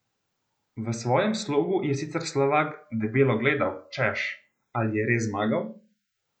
V svojem slogu je sicer Slovak debelo gledal, češ, ali je res zmagal?